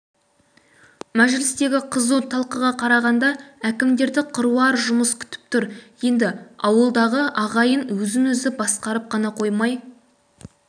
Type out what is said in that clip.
мәжілістегі қызу талқыға қарағанда әкімдерді қыруар жұмыс күтіп тұр енді ауылдағы ағайын өзін-өзі басқарып қана қоймай